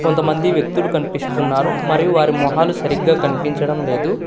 కొంతమంది వ్యక్తులు కనిపిస్తున్నారు మరియు వారి మొహాలు సరిగ్గా కనిపించడం లేదు.